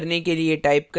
compile करने के लिए टाइप करें